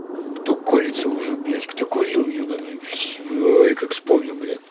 кто колется уже блядь кто курил ебаный все ой как вспомню блядь